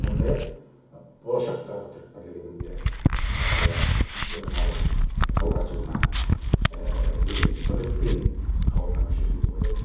сондай ақ болашақтағы түрік бірлігінің де одан әрі жалғасуына деген үмітпен қабылданған шешім деп ойлаймын